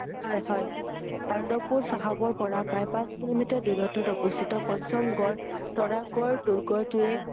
হয় হয় আনন্দপুৰ চাহাবৰ পৰা প্ৰায় পাঁচ কিলোমিটাৰ দূৰত্বত অৱস্হিত পঞ্চম গড় তৰা গড় দূৰ্গটোৱে